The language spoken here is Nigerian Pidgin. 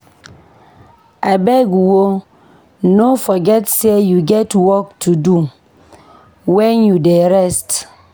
Abeg o no forget sey you get work to do wen you dey rest.